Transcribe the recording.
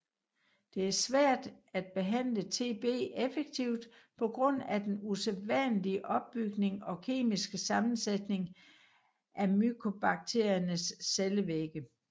Det er svært at behandle TB effektivt på grund af den usædvanlige opbygning og kemiske sammensætning af mykobakteriernes cellevægge